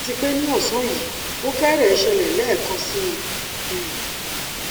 àti pé ní ọsán yìí ó fẹrẹẹ ṣẹlẹ lẹẹkan síi um